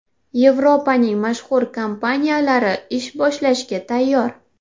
Yevropaning mashhur kompaniyalari ish boshlashga tayyor .